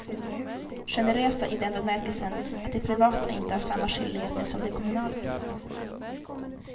Generösa i den bemärkelsen att de privata inte har samma skyldigheter som de kommunala.